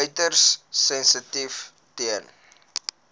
uiters sensitief ten